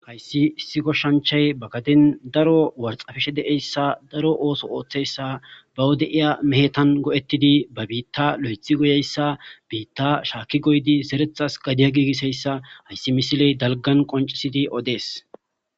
Hayssi issi koshshanchay ba gaden daro warxafishe deeyssa daro ooso ooththeyssa ba wode'iya mehetan go'ettidi ba biitta lo'ethi goyeyssa biitta shaakki goydi zerethas gadiya giigiseyssa hayssi misiley dalgan qoncisidi odees